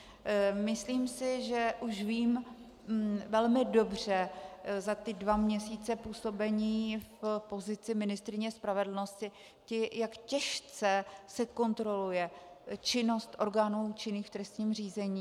Myslím si, že už vím velmi dobře za ty dva měsíce působení v pozici ministryně spravedlnosti, jak těžce se kontroluje činnost orgánů činných v trestním řízení.